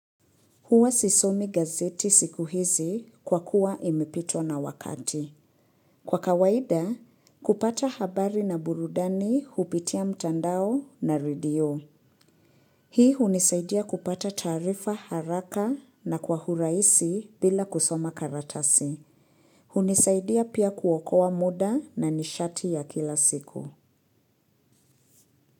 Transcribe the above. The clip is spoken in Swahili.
Huwa sisomi gazeti siku hizi kwa kuwa imepitwa na wakati. Kwa kawaida, kupata habari na burudani hupitia mtandao na radio. Hii hunisaidia kupata taarifa haraka na kwa urahisi bila kusoma karatasi. Hunisaidia pia kuokoa muda na nishati ya kila siku.